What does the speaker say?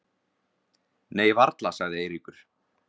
Nei varla sagði Eiríkur.